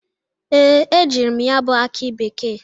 Ee, ejiri m ya bụ akị bekee.